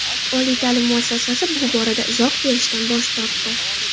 Oliy ta’lim muassasasi bu borada izoh berishdan bosh tortdi.